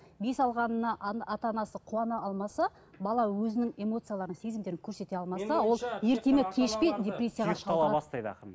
бес алғанына ата анасы қуана алмаса бала өзінің эмоцияларын сезімдерін көрсете алмаса ол ерте ме кеш пе депрессияға шалдығады